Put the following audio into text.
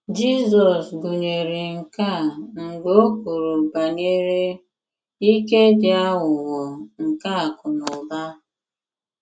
Jizọs gụnyere nke a mgbe o kwuru banyere “ ike dị aghụghọ nke akụ̀ na ụba.